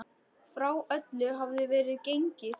Frá öllu hafði verið gengið.